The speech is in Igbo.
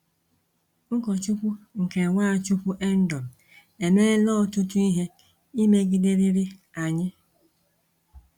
Ụkọchukwu nke NwaChukwuendom emeela ọtụtụ ihe imegiderịrị anyị!